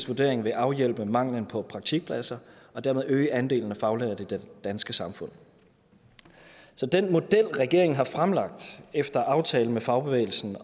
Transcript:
vurdering vil afhjælpe manglen på praktikpladser og dermed øge andelen af faglærte i det danske samfund så den model regeringen har fremlagt efter aftale med fagbevægelsen